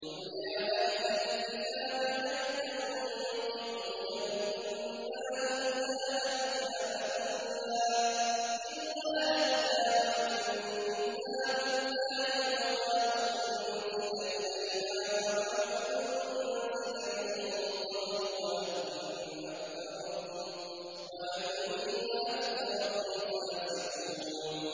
قُلْ يَا أَهْلَ الْكِتَابِ هَلْ تَنقِمُونَ مِنَّا إِلَّا أَنْ آمَنَّا بِاللَّهِ وَمَا أُنزِلَ إِلَيْنَا وَمَا أُنزِلَ مِن قَبْلُ وَأَنَّ أَكْثَرَكُمْ فَاسِقُونَ